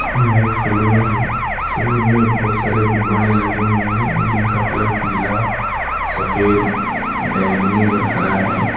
यह एक सलोन है सलोन में बहुत सारे गुब्बारे लगे हुए हैं जिनका कलर पीला सफेद बैंगनी और हरा है।